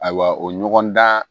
Ayiwa o ɲɔgɔndan